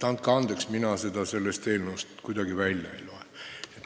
Andke andeks, mina seda sellest teemast kuidagi välja ei loe.